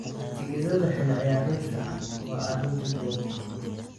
Tigidhada xilli ciyaareedka waa arrin ka duwan.